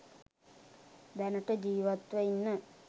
දැනට ජීවත්ව ඉන්න